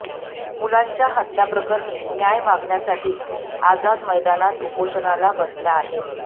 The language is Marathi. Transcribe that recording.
मुलांच्या हत्याप्रकरणी न्याय मागण्यासाठी आझाद मैदानात उपोषणाला बसल्या आहेत